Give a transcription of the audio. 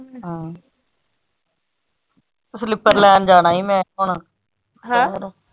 ਆਹੋ slipper ਲੈਣ ਜਾਣਾ ਈ ਮੈਂ ਹੁਣ ਹੈਂ?